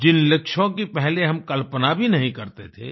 जिन लक्ष्यों की पहले हम कल्पना भी नहीं करते थे